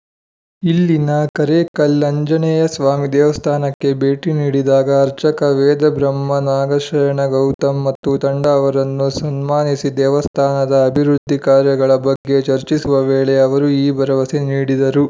ಇಲ್ಲಿನ ಕರೇಕಲ್‌ ಆಂಜನೇಯಸ್ವಾಮಿ ದೇವಸ್ಥಾನಕ್ಕೆ ಭೇಟಿ ನೀಡಿದಾಗ ಅರ್ಚಕ ವೇದಬ್ರಹ್ಮ ನಾಗಶಯನ ಗೌತಮ್‌ ಮತ್ತು ತಂಡ ಅವರನ್ನು ಸನ್ಮಾನಿಸಿ ದೇವಸ್ಥಾನದ ಅಭಿವೃದ್ಧಿ ಕಾರ್ಯಗಳ ಬಗ್ಗೆ ಚರ್ಚಿಸುವ ವೇಳೆ ಅವರು ಈ ಭರವಸೆ ನೀಡಿದರು